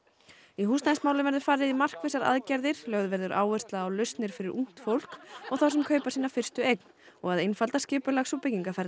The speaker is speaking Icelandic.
í húsnæðismálum verður farið í markvissar aðgerðir lögð verður áhersla á lausnir fyrir ungt fólk og þá sem kaupa sína fyrstu eign og að einfalda skipulags og